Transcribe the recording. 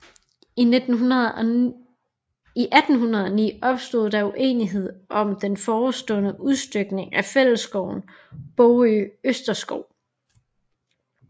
I 1809 opstod der uenighed om den forestående udstykning af fællesskoven Bogø Østerskov